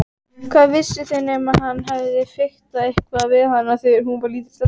Hvað vissu þau nema hann hefði fiktað eitthvað við hana þegar hún var lítil stelpa.